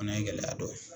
Fana ye gɛlɛya dɔ ye